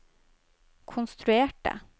konstruerte